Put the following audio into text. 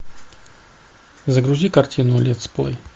загрузи картину летсплей